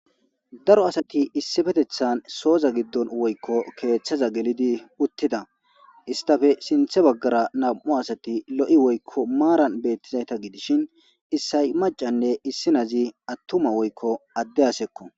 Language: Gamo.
Daro asaay esipeththan soza gidon weyko keththaza gelidi utida estape sinththa bagara nau asati lo'oi weyko maran betisha gidishshin esii machane esii nazi atuma weyko adee asa'aco.